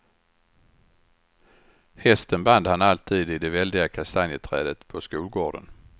Hästen band han alltid i det väldiga kastanjeträdet på skolgården.